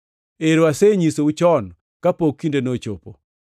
Ero, asenyisou chon kapok kindeno ochopo.